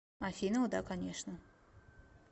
афина о да конечно